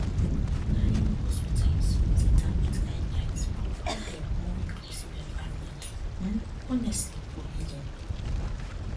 na um hospitals with interfaith guidelines provide um more inclusive environments um honestly for healing